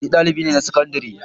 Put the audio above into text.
Ni dalibi ne na sakandare.